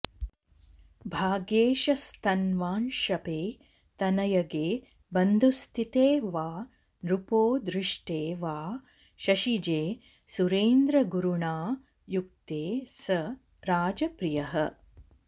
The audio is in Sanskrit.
भाग्येशस्थन्वांशपे तनयगे बन्धुस्थिते वा नृपो दृष्टे वा शशिजे सुरेन्द्रगुरुणा युक्ते स राजप्रियः